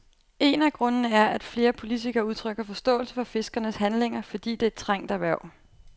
En af grundene er, at flere politikere udtrykker forståelse for fiskernes handlinger, fordi det er et trængt erhverv.